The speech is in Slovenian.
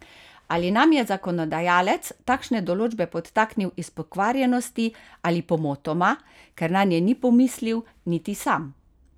Ali nam je zakonodajalec takšne določbe podtaknil iz pokvarjenosti ali pomotoma, ker nanje ni pomislil niti sam?